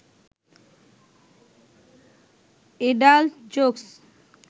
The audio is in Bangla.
adult jokes